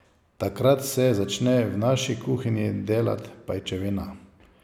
Takrat se začne v naši kuhinji delat pajčevina.